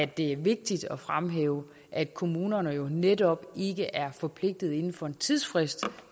det er vigtigt at fremhæve at kommunerne jo netop ikke er forpligtet inden for en tidsfrist